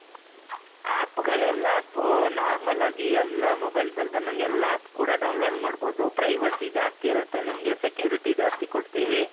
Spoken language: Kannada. app ಗಳು ಎಲ್ಲಾ app normal ಆಗಿ ಎಲ್ಲಾ mobilesಅಲ್ಲಿ ಬಂದಂಗೆ ಎಲ್ಲಾ app download ಮಾಡಬಹುದು privacy ಜಾಸ್ತಿ ಇರುತ್ತೆ ನಮ್ಗೆ security ಜಾಸ್ತಿ ಕೊಡ್ತೀವಿ .